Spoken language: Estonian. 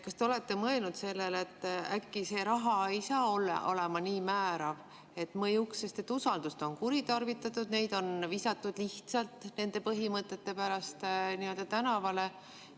Kas te olete mõelnud sellele, et äkki see raha ei saa olema nii määrav, et mõjuks, sest usaldust on kuritarvitatud, neid on visatud lihtsalt nende põhimõtete pärast tänavale?